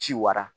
Ci wara